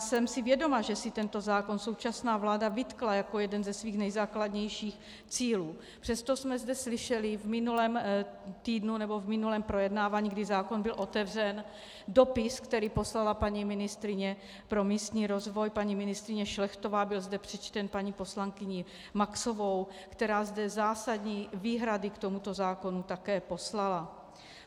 Jsem si vědoma, že si tento zákon současná vláda vytkla jako jeden ze svých nejzákladnějších cílů, přesto jsme zde slyšeli v minulém týdnu, nebo v minulém projednávání, kdy zákon byl otevřen, dopis, který poslala paní ministryně pro místní rozvoj, paní ministryně Šlechtová, byl zde přečten paní poslankyní Maxovou, která zde zásadní výhrady k tomuto zákonu také poslala.